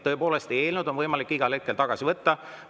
Tõepoolest, eelnõu on võimalik igal hetkel tagasi võtta.